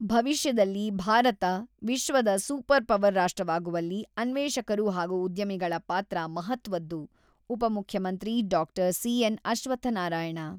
# ಭವಿಷ್ಯದಲ್ಲಿ ಭಾರತ ವಿಶ್ವದ super power ರಾಷ್ಟ್ರವಾಗುವಲ್ಲಿ ಅನ್ವೇಷಕರು ಹಾಗೂ ಉದ್ಯಮಿಗಳ ಪಾತ್ರ ಮಹತ್ವದ್ದು-ಉಪಮುಖ್ಯಮಂತ್ರಿ ಡಾಕ್ಟರ್ ಸಿ.ಎನ್.ಅಶ್ವತ್ಥನಾರಾಯಣ, <><><>